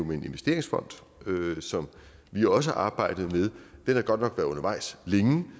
med en investeringsfond som vi også arbejdede med den har godt nok været undervejs længe det